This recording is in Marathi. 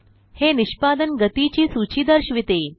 हे निष्पदन गतीची सूची दर्शविते